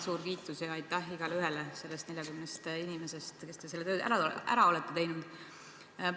Suur kiitus ja aitäh igaleühele neist 40 inimesest, kes te selle töö ära olete teinud!